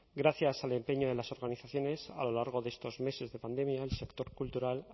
gracias al empeño de las organizaciones a lo largo de estos meses de pandemia el sector cultural